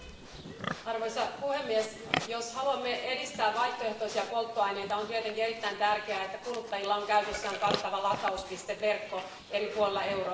Arvoisa puhemies, jos haluamme edistää vaihtoehtoisia polttoaineita on tietenkin erittäin tärkeää, että kuluttajilla on käytössään kattava latauspisteverkko eri puolilla Eurooppaa.